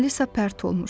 Alisa pərt olmuşdu.